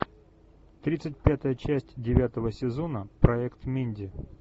тридцать пятая часть девятого сезона проект минди